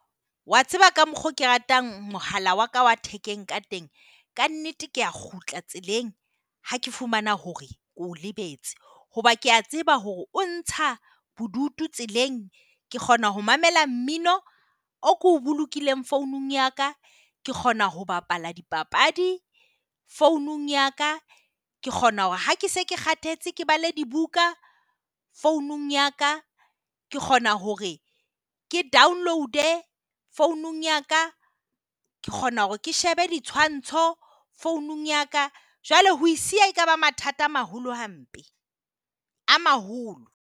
Wa tseba ka mokgwa oo ke ratang mohala wa ka wa thekeng ka teng. Ka nnete, ke a kgutla tseleng ha ke fumana hore ke o lebetse hoba ke a tseba hore o ntsha bodutu tseleng. Ke kgona ho mamela mmino oo ke o bolokehileng founung ya ka. Ke kgona ho bapala dipapadi founung ya ka. Ke kgona hore ha ke se ke kgathetse ke bale dibuka founung ya ka. Ke kgona hore ke download-e founung ya ka. Ke kgona hore ke shebe ditshwantsho founung ya ka. Jwale ho o siya ekaba mathata a maholo hampe. A maholo.